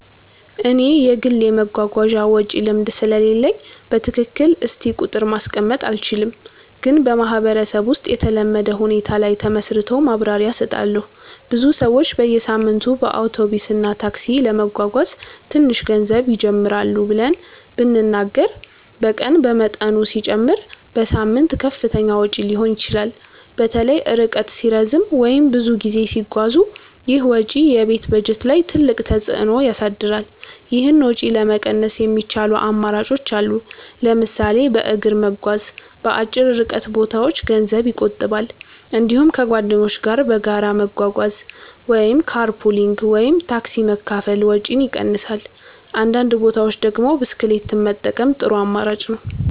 እኔ የግል የመጓጓዣ ወጪ ልምድ ስለሌለኝ በትክክል እስቲ ቁጥር ማስቀመጥ አልችልም፣ ግን በማህበረሰብ ውስጥ የተለመደ ሁኔታ ላይ ተመስርቶ ማብራሪያ እሰጣለሁ። ብዙ ሰዎች በየሳምንቱ በአውቶቡስ እና ታክሲ ለመጓጓዝ ትንሽ ገንዘብ ይጀምራሉ ብለን ብንናገር በቀን በመጠኑ ሲጨመር በሳምንት ከፍተኛ ወጪ ሊሆን ይችላል። በተለይ ርቀት ሲረዝም ወይም ብዙ ጊዜ ሲጓዙ ይህ ወጪ የቤት በጀት ላይ ትልቅ ተፅዕኖ ያሳድራል። ይህን ወጪ ለመቀነስ የሚቻሉ አማራጮች አሉ። ለምሳሌ በእግር መጓዝ በአጭር ርቀት ቦታዎች ገንዘብ ይቆጥባል። እንዲሁም ከጓደኞች ጋር በጋራ መጓጓዝ (car pooling ወይም ታክሲ መካፈል) ወጪን ይቀንሳል። በአንዳንድ ቦታዎች ደግሞ ብስክሌት መጠቀም ጥሩ አማራጭ ነው።